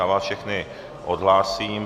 Já vás všechny odhlásím.